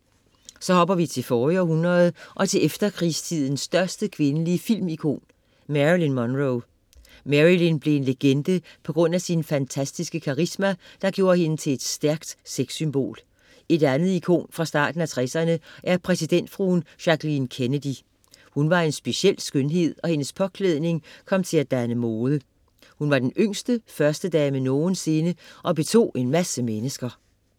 Så hopper vi til forrige århundrede og til efterkrigstidens største kvindelige filmikon: Marilyn Monroe. Marilyn blev en legende på grund af sin fantastiske karisma, der gjorde hende til et stærkt sexsymbol. Et andet ikon fra starten af tresserne er præsidentfruen Jacqueline Kennedy. Hun var en speciel skønhed, og hendes påklædning kom til at danne mode. Hun var den yngste førstedame nogensinde og betog en masse mennesker.